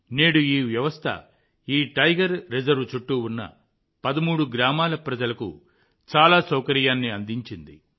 నేడు ఈ వ్యవస్థ ఈ టైగర్ రిజర్వ్ చుట్టూ ఉన్న 13 గ్రామాల ప్రజలకు చాలా సౌకర్యాన్ని అందించింది